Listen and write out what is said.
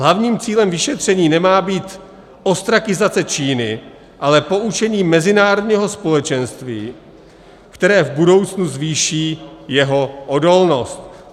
Hlavním cílem vyšetření nemá být ostrakizace Číny, ale poučení mezinárodního společenství, které v budoucnu zvýší jeho odolnost.